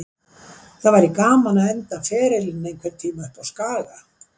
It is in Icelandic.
Það væri gaman að enda ferilinn einhvern tíma uppá Skaga.